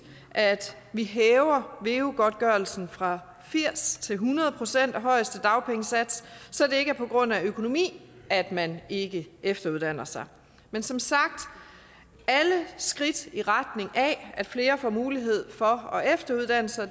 at vi hæver veu godtgørelsen fra firs til hundrede procent af højeste dagpengesats så det ikke er på grund af økonomi at man ikke efteruddanner sig men som sagt alle skridt i retning af at flere får mulighed for at efteruddanne sig